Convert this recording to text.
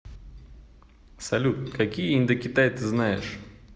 салют какие индокитай ты знаешь